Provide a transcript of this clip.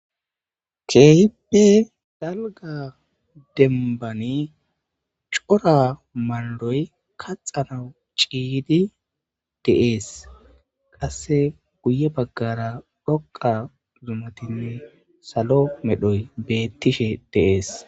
Keehippe dalgga dembbani daro maldoy kaxanawu ciyidii de'es qase guye baggara dhoqa zumatinne salo medhoy bettoshe de'es